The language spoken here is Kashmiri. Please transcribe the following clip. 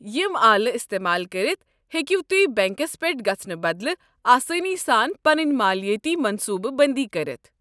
یم آلہٕ استعمال کٔرتھ، ہیٚکِو تُہۍ بینكس پیٹھ گژھنہٕ بدلہٕ آسٲنی سان پنٕنۍ مٲلیٲتی منصوٗبہٕ بنٛدی کٔرتھ۔